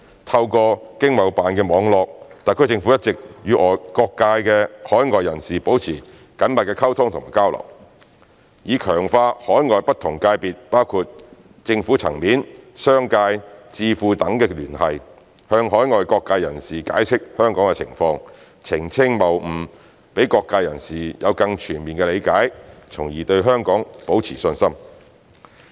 透過經貿辦的網絡，特區政府一直與各界海外人士保持緊密溝通及交流，以強化與海外不同界別，包括政府層面、商界、智庫等的聯繫，向海外各界人士解釋香港的情況，澄清謬誤，讓各界人士有更全面的理解，從而對香港保持信心。